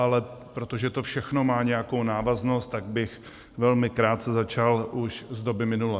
Ale protože to všechno má nějakou návaznost, tak bych velmi krátce začal už z doby minulé.